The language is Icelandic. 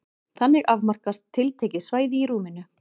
Þannig afmarkast tiltekið svæði í rúminu.